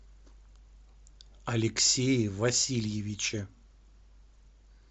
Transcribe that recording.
алексее васильевиче